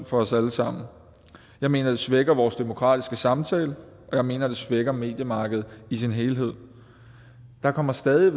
for os alle sammen jeg mener det svækker vores demokratiske samtale og jeg mener det svækker mediemarkedet i sin helhed der kommer stadig